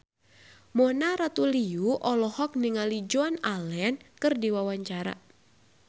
Mona Ratuliu olohok ningali Joan Allen keur diwawancara